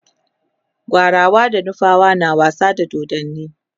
gwarawa da nufawa na wasa da dodanni